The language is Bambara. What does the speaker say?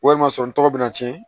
Walima sɔrɔ n tɔgɔ bɛna tiɲɛ